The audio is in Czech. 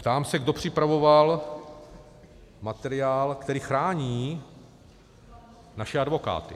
Ptám se, kdo připravoval materiál, který chrání naše advokáty.